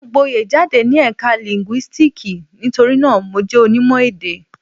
Mo gboyè jáde ní Ẹ̀ka Linguistics nítorí náà, Mo jẹ́ onímọ̀-èdè.